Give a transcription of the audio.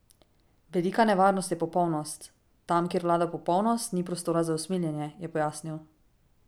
Velika nevarnost je popolnost: 'Tam kjer vlada popolnost, ni prostora za usmiljenje,' je pojasnil.